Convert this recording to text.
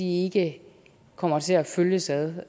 ikke kommer til at følges ad